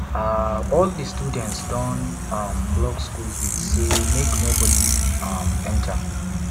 um all di students don um block skool gate sey make nobodi um enta